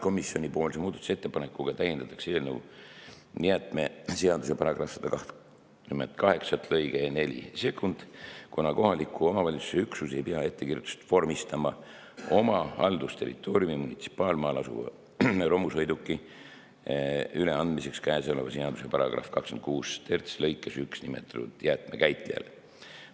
Selle muudatusettepanekuga täiendatakse eelnõu jäätmeseaduse § 128 lõikega 42, kuna kohaliku omavalitsuse üksus ei pea ettekirjutust vormistama oma haldusterritooriumi munitsipaalmaal asuva romusõiduki üleandmiseks käesoleva seaduse § 263 lõikes 1 nimetatud jäätmekäitlejale.